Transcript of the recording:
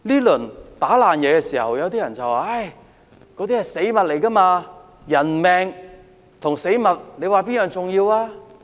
有些人說，被打爛的東西是死物，人命和死物，哪一樣更重要？